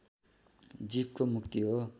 जीवको मुक्ति हो